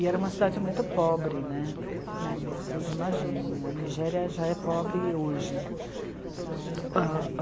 E era uma cidade muito pobre né, vocês imaginem, a Nigéria já é pobre hoje.